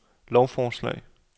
lovforslag